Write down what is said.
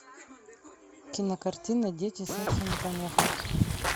кинокартина дети сексу не помеха